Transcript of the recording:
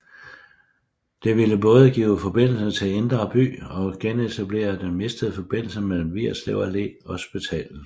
Det ville både give forbindelse til Indre By og genetablere den mistede forbindelse mellem Vigerslev Allé og hospitalet